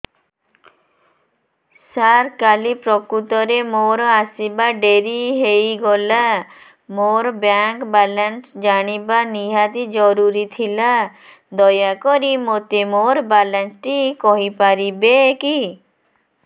ସାର କାଲି ପ୍ରକୃତରେ ମୋର ଆସିବା ଡେରି ହେଇଗଲା ମୋର ବ୍ୟାଙ୍କ ବାଲାନ୍ସ ଜାଣିବା ନିହାତି ଜରୁରୀ ଥିଲା ଦୟାକରି ମୋତେ ମୋର ବାଲାନ୍ସ ଟି କହିପାରିବେକି